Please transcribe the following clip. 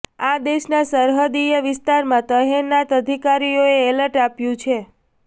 આ દેશના સરહદીય વિસ્તારમાં તહેનાત અધિકારીઓએ એલર્ટ આપ્યું છે